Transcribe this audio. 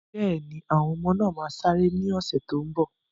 Bẹ́ẹ̀ni, àwọn ọmọ náà máa sáré ní ọ̀sẹ̀ tó n bọ̀